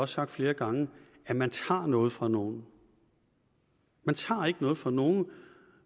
sagt flere gange at man tager noget fra nogen man tager ikke noget fra nogen